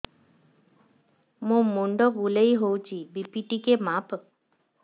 ମୋ ମୁଣ୍ଡ ବୁଲେଇ ହଉଚି ବି.ପି ଟିକେ ମାପ